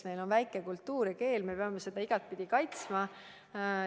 Meil on väike kultuur ja keel, me peame neid igatpidi kaitsma.